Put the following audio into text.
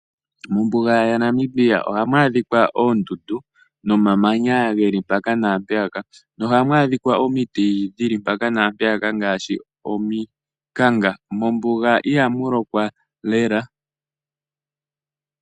Mombuga ya Namibia ohamu adhikwa oondundu nomamanya geli mpaka naampeyaka. Nohamu adhikwa omiti dhili mpaka naampeyaka ngaashi omikanga. Mombuga ihamu lokwa lela.